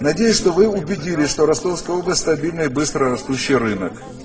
надеюсь что вы убедились что ростовская область стабильно быстрорастущий рынок